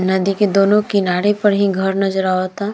नदी के दोनों किनारे पर ही घर नज़र आवता।